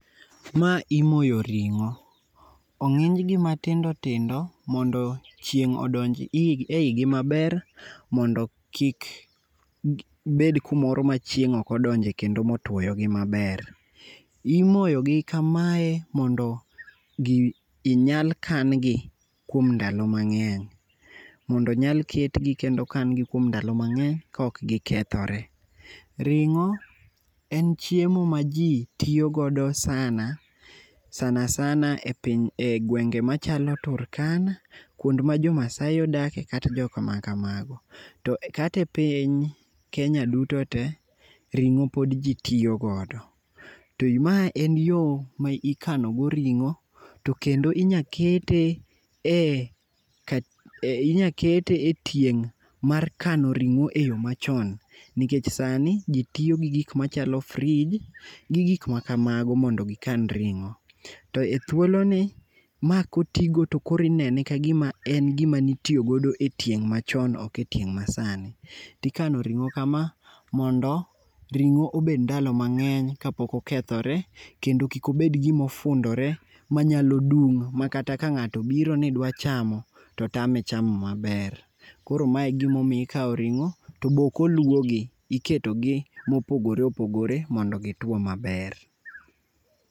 Mae imoyo ring'o. Ong'onjgi matindo tindo mondo chieng' odonji e igi maber mondo kik bed kumoro machieng' okodonjo kendo motuwoyo gi maber. Imoyogi kamae mondo inyal kan gi kuom ndalo mang'eny, mondo onyal ketgi kendo okan gi kuom ndalo mang'eny kok gikethore. Ring'o en chiemo ma ji tiyo godo sana, sana sana,e gwenge machalo Turkana, kwond ma Jomaasai odakie kata jok makamago. To kata e piny Kenya duto te, ring'o pod ji tiyo godo. Mae en yo ma ikanogo ring'o, to kendo inya kete e tieng' mar kano ring'o e yo machon, nikech sani ji tiyo gi gik machalo frij, gi gik makamago mondo gikan ring'o. To e thuoloni, ma kotigo to koro inene ka gima en gima nitiyo godo e tieng' machon, ok e tieng' masani. Tikano ring'o hama mondo ring'o obed ndalo mang'eny kapok okethore, kendo kik obed gimo fundore manyalo dum, ma kata ka ng'ato obiro ni dwa chamo, to tame chamo maber. Koro ma e gimomiyo ikawo ringo, to be ok oluow gi. Iketogi mopogore opogore, mondo gituwo maber.